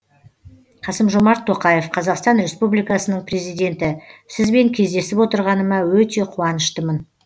қасым жомарт тоқаев қазақстан республикасының президенті сізбен кездесіп отырғаныма өте қуаныштымын